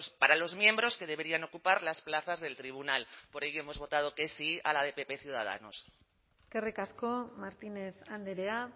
para los miembros que deberían ocupar las plazas del tribunal por ello hemos votado que sí a la de pp ciudadanos eskerrik asko martínez andrea